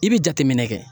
I bɛ jateminɛ kɛ